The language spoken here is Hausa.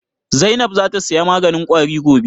Zainab za ta saya maganin Ƙwari gobe?